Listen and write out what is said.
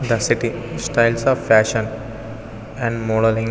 The city styles of fashion and modelling .